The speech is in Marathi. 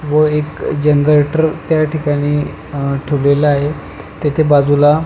व एक जनरेटर त्या ठिकाणी अ ठेवलेल आहे तेथे बाजूला --